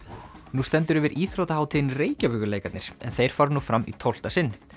nú stendur yfir íþróttahátíðin Reykjavíkurleikarnir en þeir fara nú fram í tólfta sinn